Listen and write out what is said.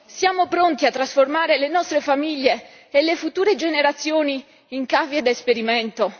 Siamo pronti a trasformare le nostre famiglie e le future generazioni in cavie da esperimento?